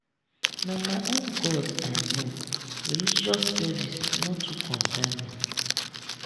na my own god i know religious service no too concern me.